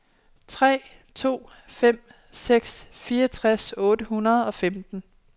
tre to fem seks fireogtres otte hundrede og femten